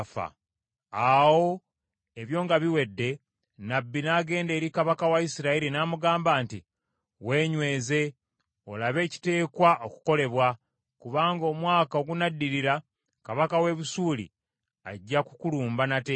Awo ebyo nga biwedde, nnabbi n’agenda eri kabaka wa Isirayiri n’amugamba nti, “Weenyweze, olabe ekiteekwa okukolebwa, kubanga omwaka ogunaddirira kabaka w’e Busuuli ajja kukulumba nate.”